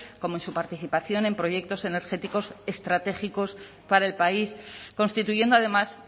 como en su participación en proyectos energéticos estratégicos para el país constituyendo además